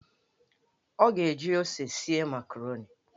Ọ ga-eji ose esi makaroni.